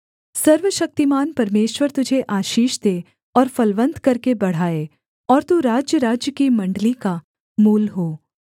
सर्वशक्तिमान परमेश्वर तुझे आशीष दे और फलवन्त करके बढ़ाए और तू राज्यराज्य की मण्डली का मूल हो